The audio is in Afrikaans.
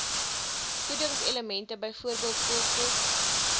voedingselemente byvoorbeeld koolstof